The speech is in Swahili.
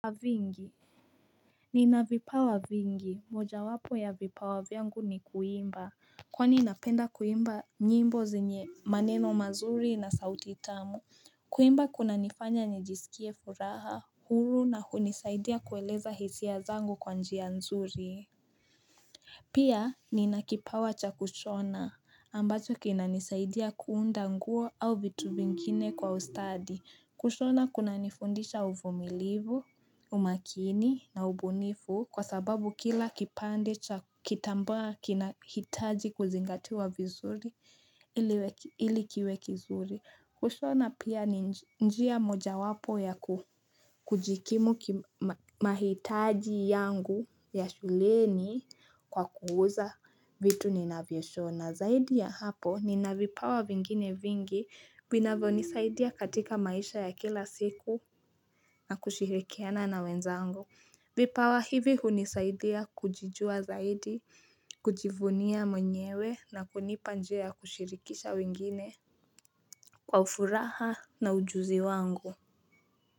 Vingi, nina vipawa vingi, moja wapo ya vipawa vyangu ni kuimba, kwani napenda kuimba nyimbo zenye maneno mazuri na sauti tamu, kuimba kuna nifanya nijisikie furaha, huru na hunisaidia kueleza hisia zangu kwa njia nzuri. Pia nina kipawa cha kushona ambacho kinanisaidia kuunda nguo au vitu vingine kwa ustadi. Kushona kunanifundisha uvumilivu, umakini na ubunifu kwa sababu kila kipande cha kitambaa kinahitaji kuzingatiwa vizuri ili kiwe kizuri. Kushona pia njia mojawapo ya kujikimu mahitaji yangu ya shuleni kwa kuuza vitu ninavyoshona. Zaidi ya hapo nina vipawa vingine vingi vinavyo nisaidia katika maisha ya kila siku na kushirikiana na wenzangu. Vipawa hivi hunisaidia kujijua zaidi, kujivunia mwenyewe na kunipa njia ya kushirikisha wengine. Kwa furaha na ujuzi wangu.